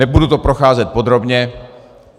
Nebudu to procházet podrobně.